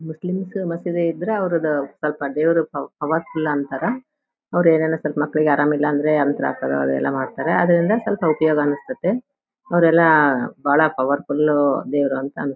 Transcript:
Muslim ಮಸೀದಿ ಇದ್ರೆ ಅವರುದು ಸ್ವಲ್ಪ ದೇವರ ಪ್ರವಾದಿ ತರ . ಅವರು ಏನೇನೋ ಸ್ವಲ್ಪ ಮಕ್ಕಳಿಗೆ ಆರಾಮ ಇಲ್ಲಾಂದ್ರೆ ಯಂತ್ರ ಹಾಕೋದು ಎಲ್ಲ ಮಾಡ್ತಾರೆ ಅದರಿಂದ ಸ್ವಲ್ಪ ಉಪಯೋಗ ಅನಿಸ್ತದೆ ಅವರೆಲ್ಲ ಬಾಳ ಪವರ್ಫುಲ್ ದೇವರು ಅಂತ --